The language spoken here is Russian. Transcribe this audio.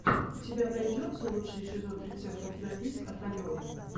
у тебя найдется лучший эпизод рецептов на бис от алены